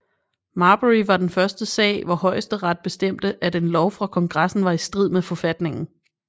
Marbury var den første sag hvor højesteret bestemte at en lov fra Kongressen var i strid med forfatningen